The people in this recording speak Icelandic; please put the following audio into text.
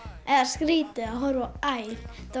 eða skrítið að horfa á æl